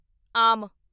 ਆਮ